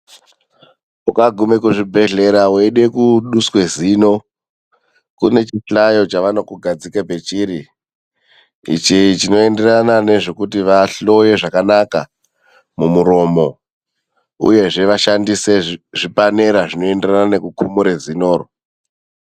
Ukagume kuzvibhedhlera weide kuduswa zino kune chihlayo chavanokugadzike pachiri ,ichi chinoenderana nezvekuti vahloye zvakanaka mumuromo uyezve vashandise zviipanera zvinoenderana nekuti vakumure zino.